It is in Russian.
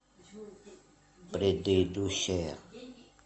предыдущая